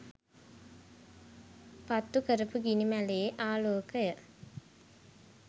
පත්තුකරපු ගිනි මැලයේ ආලෝකය